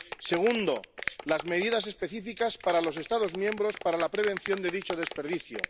segundo, las medidas específicas para los Estados miembros para la prevención de dicho desperdicio